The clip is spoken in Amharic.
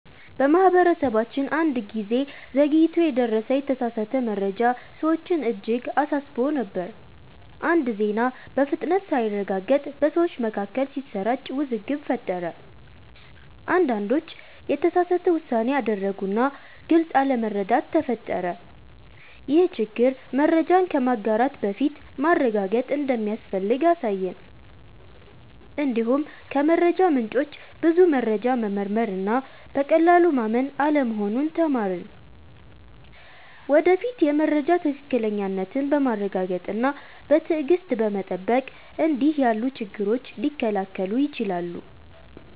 በማህበረሰባችን አንድ ጊዜ ዘግይቶ የደረሰ የተሳሳተ መረጃ ሰዎችን እጅግ አሳስቦ ነበር። አንድ ዜና በፍጥነት ሳይረጋገጥ በሰዎች መካከል ሲሰራጭ ውዝግብ ፈጠረ። አንዳንዶች የተሳሳተ ውሳኔ አደረጉ እና ግልጽ አለመረዳት ተፈጠረ። ይህ ችግር መረጃን ከማጋራት በፊት ማረጋገጥ እንደሚያስፈልግ አሳየን። እንዲሁም ከመረጃ ምንጮች ብዙ መረጃ መመርመር እና በቀላሉ ማመን አለመሆኑን ተማርን። ወደፊት የመረጃ ትክክለኛነትን በማረጋገጥ እና በትዕግሥት በመጠበቅ እንዲህ ያሉ ችግሮች ሊከላከሉ ይችላሉ።